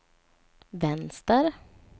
vänster